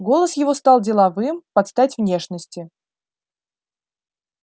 голос его стал деловым под стать внешности